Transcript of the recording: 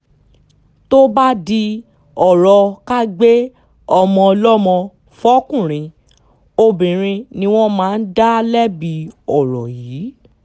tó bá di ọ̀rọ̀ ká gbé ọmọ ọlọ́mọ fọkùnrin obìnrin ni wọ́n máa ń dá lẹ́bi ọ̀rọ̀ yìí